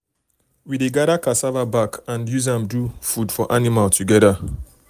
we dey gather cassava back and use am do food for animal together.